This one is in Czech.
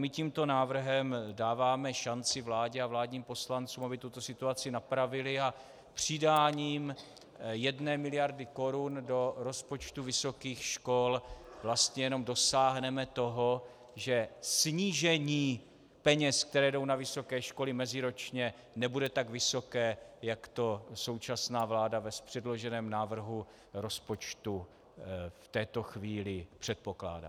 My tímto návrhem dáváme šanci vládě a vládním poslancům, aby tuto situaci napravili, a přidáním jedné miliardy korun do rozpočtu vysokých škol vlastně jenom dosáhneme toho, že snížení peněz, které jdou na vysoké školy meziročně, nebude tak vysoké, jak to současná vláda v předloženém návrhu rozpočtu v této chvíli předpokládá.